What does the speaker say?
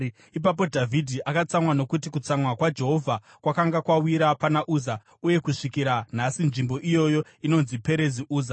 Ipapo Dhavhidhi akatsamwa nokuti kutsamwa kwaJehovha kwakanga kwawira pana Uza, uye kusvikira nhasi nzvimbo iyoyo inonzi Perezi Uza.